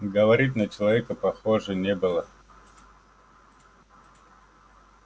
говорит на человека похоже не было